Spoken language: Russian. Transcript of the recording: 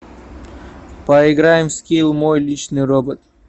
поиграем в скилл мой личный робот